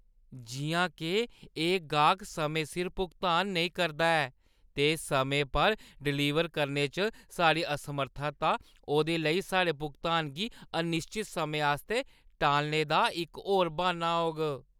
जिʼयां के एह् ऐ, एह् गाह्क समें सिर भुगतान नेईं करदा ऐ ते समें पर डिलीवर करने च साढ़ी असमर्थता ओह्दे लेई साढ़े भुगतान गी अनिश्चत समें आस्तै टालने दा इक होर ब्हान्ना होग।